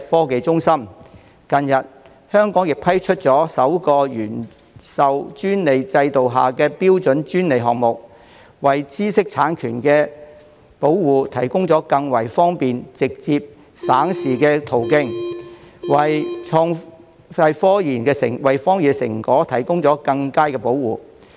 近日，香港批出首個"原授專利制度"下的標準專利項目，為知識產權保護提供更方便、直接、省時的途徑，為科研成果提供更佳保護。